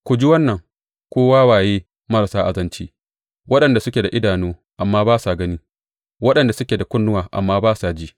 Ku ji wannan, ku wawaye marasa azanci, waɗanda suke da idanu amma ba sa gani, waɗanda suke da kunnuwa amma ba sa ji.